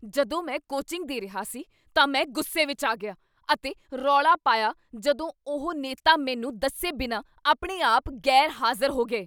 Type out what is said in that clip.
ਜਦੋਂ ਮੈਂ ਕੋਚਿੰਗ ਦੇ ਰਿਹਾ ਸੀ, ਤਾਂ ਮੈਂ ਗੁੱਸੇ ਵਿੱਚ ਆ ਗਿਆ ਅਤੇ ਰੌਲਾ ਪਾਇਆ ਜਦੋਂ ਉਹ ਨੇਤਾ ਮੈਨੂੰ ਦੱਸੇ ਬਿਨਾਂ ਆਪਣੇ ਆਪ ਗ਼ੈਰਹਾਜ਼ਰ ਹੋ ਗਏ।